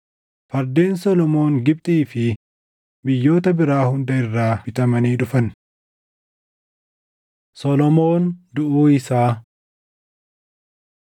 Fardeen Solomoon Gibxii fi biyyoota biraa hunda irraa bitamanii dhufan. Solomoon Duʼuu Isaa 9:29‑31 kwf – 1Mt 11:41‑43